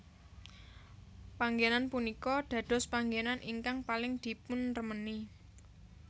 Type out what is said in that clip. Panggénan punika dadospanggenan ingkang paling dipunremeni